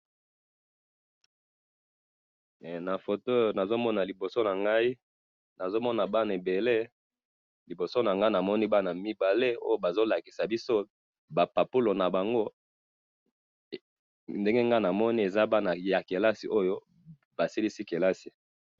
na photo oyo nazomona liboso nangai, nazomona bana ebele, liboso nangai namoni bana mibale oyo bazolakisa biso ba papulo na bango, ndenge ngai namoni eza bana ya classe oyo, basilisi classe